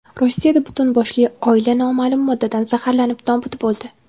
Rossiyada butun boshli oila noma’lum moddadan zaharlanib nobud bo‘ldi.